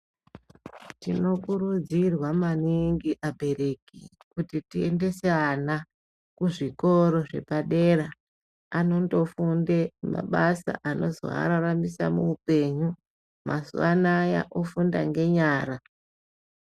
Tinokurudzirwa maningi abereki kuti tiendese ana kuzvikoro zvepadera anondofunde mabasa anozoararamisa muupenyu. Mazuwa anaya ofunda ngenyara.